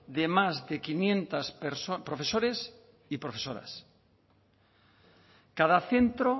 de más de quinientos profesores y profesoras cada centro